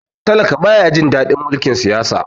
talaka ba ya Jin dadin mulkin Siyasa